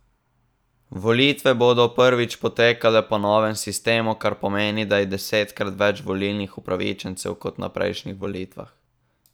Volitve bodo prvič potekale po novem sistemu, kar pomeni, da je desetkrat več volilnih upravičencev kot na prejšnjih volitvah.